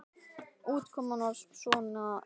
Útkoman var svona líka góð.